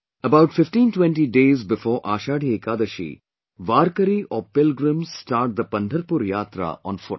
About 1520 days before Ashadhi Ekadashi warkari or pilgrims start the Pandharpur Yatra on foot